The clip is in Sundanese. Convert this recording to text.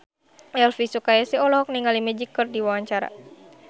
Elvi Sukaesih olohok ningali Magic keur diwawancara